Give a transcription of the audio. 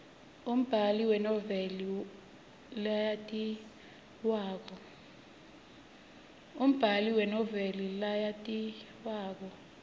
umbali wenoveli leyatiwako